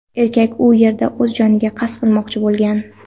Erkak u yerda o‘z joniga qasd qilmoqchi bo‘lgan.